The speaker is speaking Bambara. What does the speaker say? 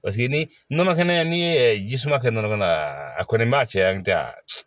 Paseke ni nɔnɔ kɛnɛ ni ji suma kɛ nɔnɔ kɛnɛ na a kɔni b'a cɛ an tɛ a